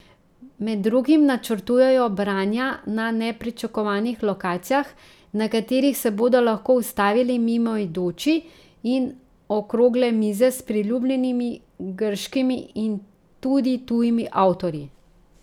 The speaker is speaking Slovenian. Med drugim načrtujejo branja na nepričakovanih lokacijah, na katerih se bodo lahko ustavili mimoidoči, in okrogle mize s priljubljenimi grškimi in tudi tujimi avtorji.